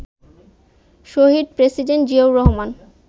Shahid president Ziaur Rahman